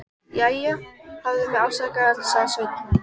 Jæja, hafðu mig afsakaðan, sagði Sveinn.